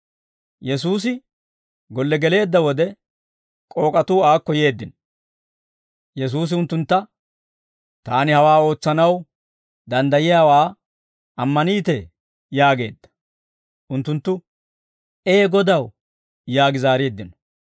Yesuusi golle geleedda wode, k'ook'atuu aakko yeeddino; Yesuusi unttuntta, «Taani hawaa ootsanaw danddayiyaawaa ammaniitee?» yaageedda. Unttunttu, «Ee Godaw» yaagi zaareeddino.